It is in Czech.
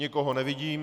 Nikoho nevidím.